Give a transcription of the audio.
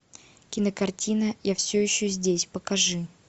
кинокартина я все еще здесь покажи